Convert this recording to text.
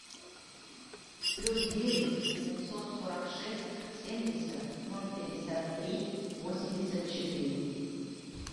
плюс девять семьсот сорок шесть семьдесят ноль пятьдесят три восемьдесят четыре